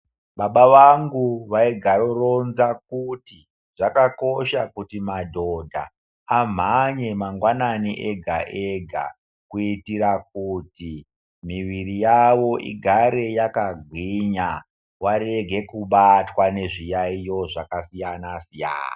Baba vangu vaigaro rinza kuti zvakakosha kuti madhodha amhanye mangwanani ega ega kuitira kuti miviri yavo igare yakagwinya varege kubatwa ngezviyaiyo zvakasiyana siyana.